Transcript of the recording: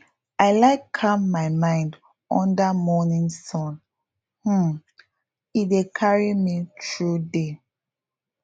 i like calm my mind under morning sun um e dey carry me through day